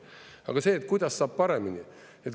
Aga see, kuidas saab paremini.